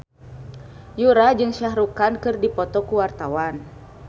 Yura jeung Shah Rukh Khan keur dipoto ku wartawan